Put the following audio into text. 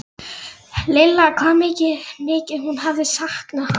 Lilla hvað mikið hún hafði saknað hans.